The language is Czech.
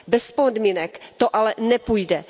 Bez podmínek to ale nepůjde.